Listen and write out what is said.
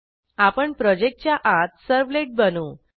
आपण प्रोजेक्टच्या आत servletबनवू